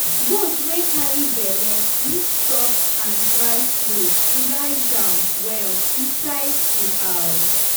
goat wey carry belle need soft and dry place to lie down well inside di house.